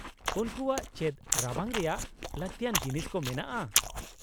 -ᱩᱱᱠᱩᱣᱟᱜ ᱪᱮᱫ ᱨᱟᱵᱟᱝ ᱨᱮᱭᱟᱜ ᱞᱟᱹᱠᱛᱤᱭᱟᱱ ᱡᱤᱱᱤᱥ ᱠᱚ ᱢᱮᱱᱟᱜᱼᱟ ?